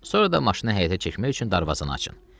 Sonra da maşını həyətə çəkmək üçün darvazanı açın.